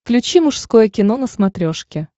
включи мужское кино на смотрешке